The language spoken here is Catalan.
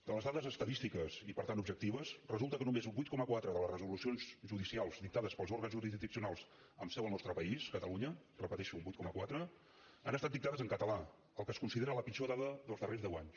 de les dades estadísti ques i per tant objectives resulta que només un vuit coma quatre de les resolucions judicials dictades pels òrgans jurisdiccionals amb seu al nostre país catalunya ho repeteixo un vuit coma quatre han estat dictades en català el que es considera la pitjor dada dels darrers deu anys